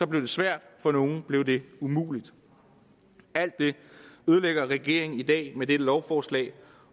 blev det svært og for nogle blev det umuligt alt det ødelægger regeringen i dag med dette lovforslag